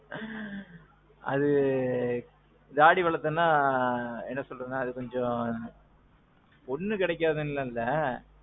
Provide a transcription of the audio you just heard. ஆ. அது. தாடி வளத்தேன்னா அது என்ன சொல்றது கொஞ்சம். பொண்ணு கெடைக்காதுண்டு எல்லாம் இல்ல.